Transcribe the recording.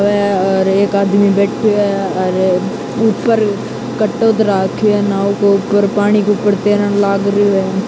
अ अ और एक आदमी बैठ्यो है और उपर कट्टो धर राख्यो है नाव के ऊपर पानी के ऊपर तेरन लाग रहियो है।